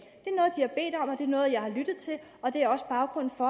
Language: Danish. det er noget og jeg har lyttet til og det er også baggrunden for